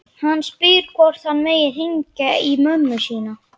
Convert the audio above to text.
Hann spyr hvort hann megi hringja í mömmu sína.